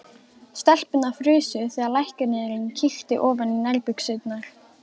Stelpurnar frusu þegar læknirinn kíkti ofan í nærbuxurnar.